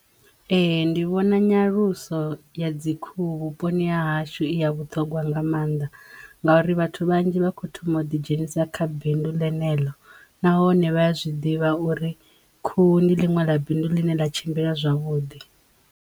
Ee. Ndi vhona nyaluso ya dzi khuhu vhuponi ha hashu i ya vhuṱhongwa nga mannḓa ngauri vhathu vhanzhi vha kho thoma u ḓi dzhenisa kha bindu ḽenelo nahone vhaya zwiḓivha uri khuhu ndi ḽiṅwe ḽa bindu ḽi ne ḽa tshimbila zwavhuḓi.